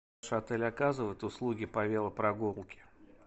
ваш отель оказывает услуги по велопрогулке